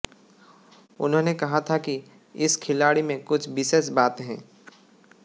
उन्होंने कहा था कि इस खिलाड़ी में कुछ विशेष बात है